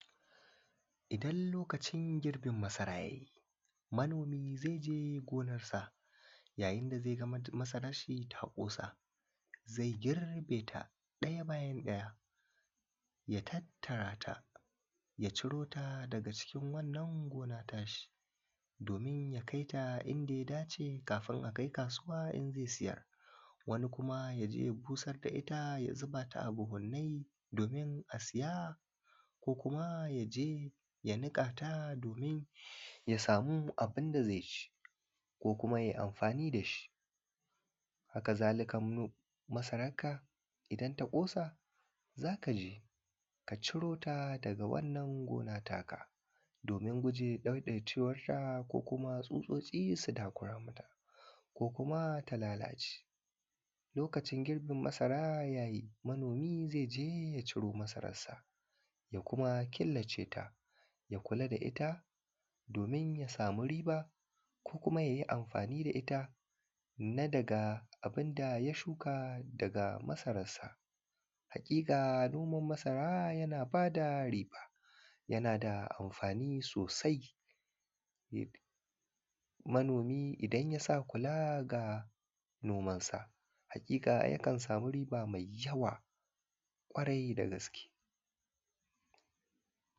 idan lokacin girbin masara ya yi manomi zai je gonarsa yayin da zai ga masaran shi ta ƙosa zai girbe ta ɗaya bayan ɗaya ya tattara ta ya ciro ta daga cikin wannan gona ta shi domin ya kai ta inda ya dace kafin a kai kasuwa in zai siyar wani kuma ya je ya busar da ita ya zuba ta a buhunnai domin a siya ko kuma ya je ya niƙa ta domin ya samu abinda zai ci ko kuma yai amfani da shi haka zalika masaran ka idan ta ƙosa za ka je ka ciro ta daga wannan gona ta ka domin guje ɗaiɗaicewarta ko kuma tsutsotsi su takura mata ko kuma ta lalace lokacin girbin masara ya yi manomi zai je ya ciro masararsa ya kuma killace ta ya kula da ita domin ya samu riba ko kuma ya yi amfani da ita na daga abinda ya shuka daga masararsa haƙiƙa noman masara yana ba da riba ya na da amfani sosai manomi idan ya sa kula ga nomansa haƙiƙa yakan samu riba mai yawa ƙwarai da gaske